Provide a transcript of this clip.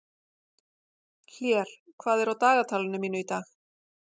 Hlér, hvað er á dagatalinu mínu í dag?